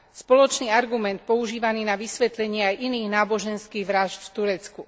Spoločný argument používaný na vysvetlenie aj iných náboženských vrážd v Turecku.